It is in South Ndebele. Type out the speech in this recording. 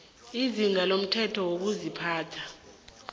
izinga lomthetho wokuziphatha